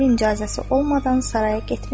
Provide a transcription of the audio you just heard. Əmirin icazəsi olmadan Saraya getmərəm.